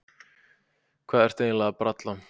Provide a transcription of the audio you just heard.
Hvað ertu eiginlega að bralla?